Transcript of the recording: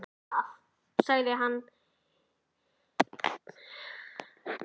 Finnst þér það? sagði hann himinglaður.